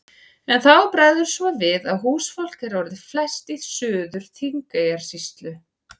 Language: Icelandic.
En þá bregður svo við að húsfólk er orðið flest í Suður-Þingeyjarsýslu.